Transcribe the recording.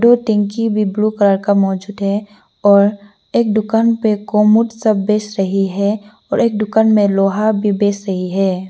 दो टंकी blue colour का मौजूद है और एक दुकान पर कोमोड सब बेच रही है और एक दुकान में लोहा भी बेच रही है।